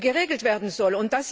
geregelt werden soll.